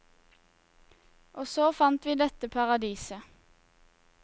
Og så fant vi dette paradiset.